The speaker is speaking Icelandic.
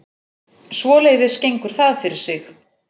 Svoleiðis gengur það fyrir sig